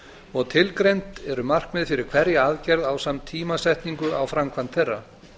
og tilgreind eru markmið fyrir hverja aðgerð ásamt tímasetningu á framkvæmd þeirra